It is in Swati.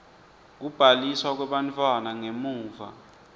kubhaliswa kwebantfwana ngemuva